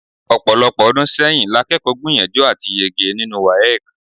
Ọ̀pọ̀lọpọ̀ ọdún sẹ́yìn lakẹ́kọ̀ọ́ gbìyànjú àti yege nínú WAEC.